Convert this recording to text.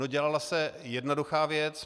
No dělala se jednoduchá věc.